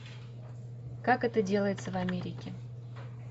как это делается в америке